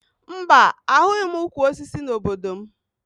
Mba, ahụghị m ukwu osisi n'obodo m